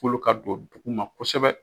Kolo ka don duguma kosɛbɛ